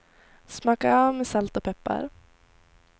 Smaka av med salt och peppar.